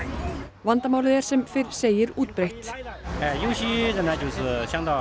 vandamálið er sem fyrr segir útbreitt saga